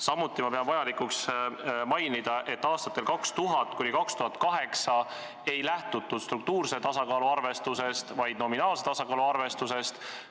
Samuti pean vajalikuks mainida, et aastatel 2000–2008 ei lähtutud struktuurse tasakaalu arvestusest, vaid nominaalse tasakaalu arvestusest.